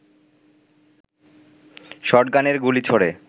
শটগানের গুলি ছোড়ে